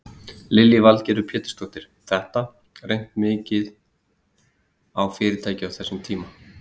Lillý Valgerður Pétursdóttir: Þetta, reynt mikið á fyrirtækið á þessum tíma?